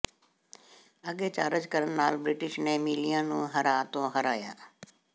ਅੱਗੇ ਚਾਰਜ ਕਰਨ ਨਾਲ ਬ੍ਰਿਟਿਸ਼ ਨੇ ਮਿਲਿੀਆ ਨੂੰ ਹਰਾ ਤੋਂ ਹਰਾਇਆ